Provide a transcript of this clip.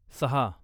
सहा